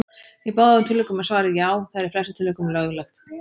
Í báðum tilvikum er svarið: Já, það er í flestum tilvikum löglegt.